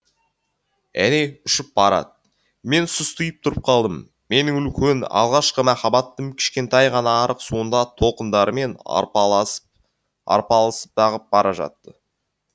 әне ұшып барады мен сұстиып тұрып қалдым менің үлкен алғашқы махаббатым кішкентай ғана арық суында толқындармен арпалысып ағып бара жатты